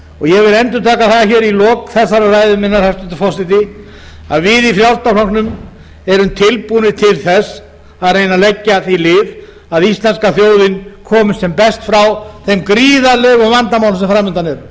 ég vil endurtaka það í lok þessarar ræðu minnar hæstvirtur forseti að við í frjálslynda flokknum erum tilbúnir til þess að reyna að leggja því lið að íslenska þjóðin komist sem best frá þeim gríðarlegu vandamálum